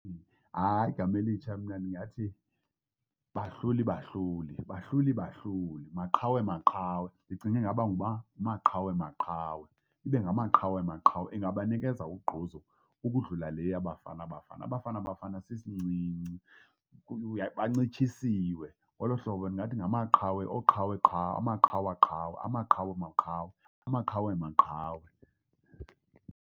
Hayi, igama elitsha mna ndingathi Bahlulibahluli, Bahlulibahluli, Maqhawemaqhawe. Ndicinge ingaba nguMaqhawemaqhawe, ibe Ngamaqhawemaqhawe ingabanikeza ugquzu ukudlula le yaBafana Bafana, uBafanaBafana sisincinci. Bancitshisiwe ngolo hlobo ndingathi ngamaqhawe, oqhaweqhawe, amaqhawaqhawe amaqhawemaqhawe amaqhawemaqhawe.